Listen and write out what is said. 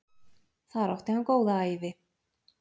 Þar átti hann góða ævi.